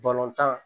tan